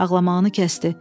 Ağlamağını kəsdi.